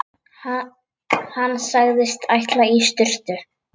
Hann sagðist ætla í sturtu.